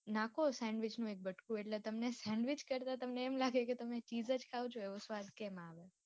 નાખો sandwich નો એક બતકો એટલે તમને sandwich કરતા મ લાગે કે cheese જ ખાઓ ચો એવો સ્વાદ કમ આવે.